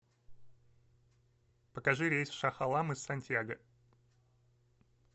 покажи рейс в шах алам из сантьяго